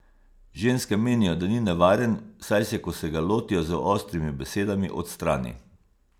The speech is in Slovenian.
Ženske menijo, da ni nevaren, saj se, ko se ga lotijo z ostrimi besedami, odstrani.